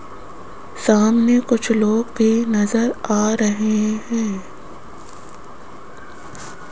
सामने कुछ लोग की नजर आ रहे हैं।